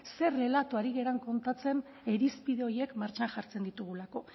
zer errelato ari garen kontatzen irizpide horiek martxan jartzen ditugulako